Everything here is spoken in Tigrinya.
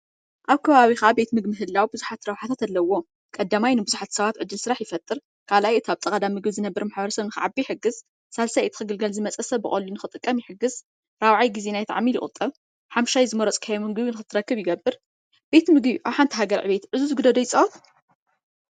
ኣብ ከባቢካ ቤት ምግቢ ምህላዉ ቡዝሕ ረብሓታት ኣለዉ፤ ቀዳማይ ንቡዝሓት ሰባት ዕዱል ስራሕ ይፍጥር ፥ካልኣይ እታ ኣብ ጥቃ እንዳ ምግቢ ዝነብር ማሕበረሰን ንክዓቢ ይሕግዝ፥ ሳልሳይ እቲ ክግልገል ዝመጸ ሰብ ብቀሊሉ ንክጥቀም ይሕግዝ፥ ራብዓይ ግዜ ናይቲ ዓሚል ይቁጠብ፥ ሓምሻይ ዝመረጽካዮ ምግቢ ንክትረክብ ይግብር። ቤት ምግቢ ኣብ ሓንቲ ሃገር ዕብየት ዕዙዝ ግደ ዶ ይጻወት?